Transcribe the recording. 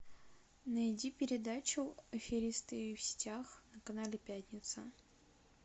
найди передачу аферисты в сетях на канале пятница